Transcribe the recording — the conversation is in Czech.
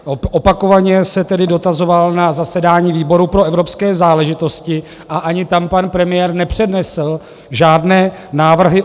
Opakovaně se tedy dotazoval na zasedání výboru pro evropské záležitosti a ani tam pan premiér nepřednesl žádné návrhy.